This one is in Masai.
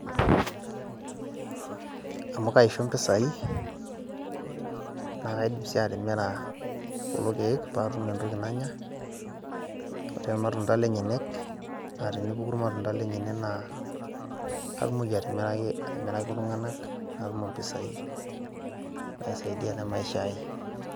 Amu kaisho impisai, na kaidim si atimira kulo keek patum entoki nanya. Ore ilmatunda lenyenyek, ore pepuku ilmatunda lenyanak naa, katumoki atimiraki iltung'anak, natum impisai naisaidia te maisha ai.